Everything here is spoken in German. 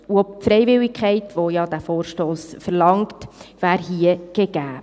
Auch die Freiwilligkeit, die dieser Vorstoss verlangt, wäre hier gegeben.